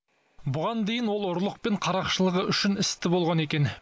бұған дейін ол ұрлық пен қарақшылығы үшін істі болған екен